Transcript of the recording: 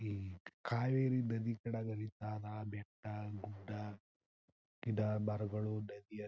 ಈ ಕಾವೇರಿ ನದಿ ಕಡೆಗ ಹರಿತಧಾ ಬೆಟ್ಟ ಗುಡ್ಡ ಗಿಡ ಮರಗಳು ನದಿ--